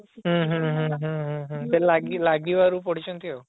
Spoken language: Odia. ହୁଁ ହୁଁ ହୁଁ ହୁଁ ହୁଁ ହୁଁ ହୁଁ ସେ ଲାଗି ଲାଗିବାରୁ ପଢିଛନ୍ତି ଆଉ